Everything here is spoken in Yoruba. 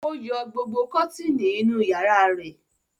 Ó yọ gbogbo kọ́tíínì inú ìyàrá rẹ̀?